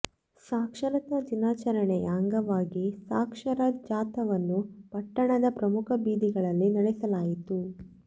ಸಾಕ್ಷರತಾ ದಿನಾಚರಣೆಯ ಅಂಗವಾಗಿ ಸಾಕ್ಷರ ಜಾಥಾವನ್ನು ಪಟ್ಟಣದ ಪ್ರಮುಖ ಬೀದಿಗಳಲ್ಲಿ ನೆಡೆಸಲಾಯಿತು